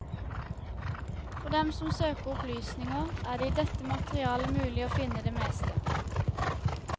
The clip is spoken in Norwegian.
For dem som søker opplysninger, er det i dette materialet mulig å finne det meste.